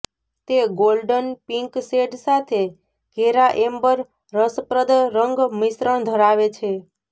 તે golden pink shade સાથે ઘેરા એમ્બર રસપ્રદ રંગ મિશ્રણ ધરાવે છે